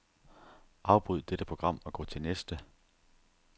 Afbryd dette program og gå til næste.